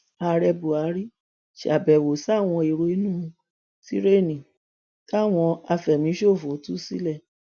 ààrẹ buhari ṣàbẹwò sáwọn èrò inú tirẹẹni táwọn àfẹmíṣòfò tú sílẹ